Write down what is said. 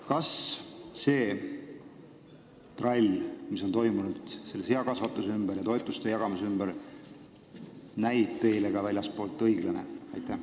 Kas see trall, mis on toimunud seakasvatuse ja toetuste jagamise ümber, näib teile ka väljastpoolt õiglane?